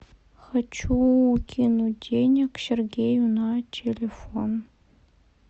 хочу кинуть денег сергею на телефон